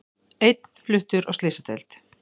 Einn fluttur á slysadeild